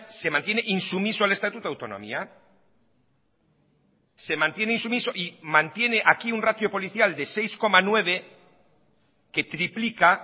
se mantiene insumiso al estatuto de autonomía se mantiene insumiso y mantiene aquí un ratio policial de seis coma nueve que triplica